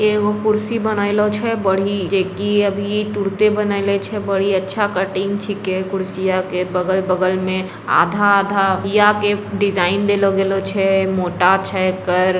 इ एगो कुर्सी बनेइलो छै बड़ी अभी तुरंत बनेऐले छैबड़ी अच्छा कटिंग छींके कुर्सिया के बगल-बगल में आधा-आधा के डिजाइन देलो गैलो छै मोटा छै एकड़।